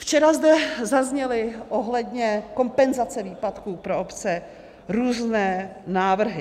Včera zde zazněly ohledně kompenzace výpadku pro obce různé návrhy.